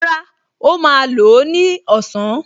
Rárá, ó máa lò ó ní ọ̀sán